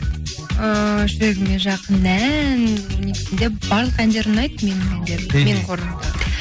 ыыы жүрегіме жақын ән негізінде барлық әндер ұнайды менің әндерім мхм менің қорымда